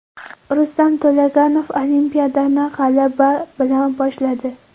Rustam To‘laganov Olimpiadani g‘alaba bilan boshladi.